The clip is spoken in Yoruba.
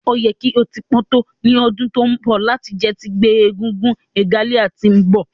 O yẹ ki o ti pọn to ni ọdun to nbọ lati jẹ ti ngbe egúngún regalia ti nbọ